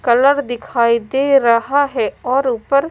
colour दिखाई दे रहा है और ऊपर--